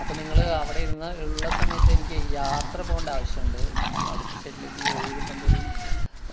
അപ്പൊ നിങ്ങള് അവിടെയിരുന്ന ഉള്ള സമയത്തെനിക്കെ യാത്ര പോകണ്ട ആവശ്യം ഇണ്ട്. ഈ അടുത്ത state ലേക്ക് ഈ ഒഴിവു കിട്ടുമ്പോ ഒരു